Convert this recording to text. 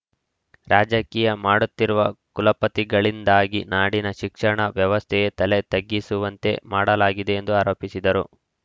ರಾಜಕೀಯ ಮಾಡುತ್ತಿರುವ ಕುಲಪತಿಗಳಿಂದಾಗಿ ನಾಡಿನ ಶಿಕ್ಷಣ ವ್ಯವಸ್ಥೆಯೇ ತಲೆ ತಗ್ಗಿಸುವಂತೆ ಮಾಡಲಾಗಿದೆ ಎಂದು ಆರೋಪಿಸಿದರು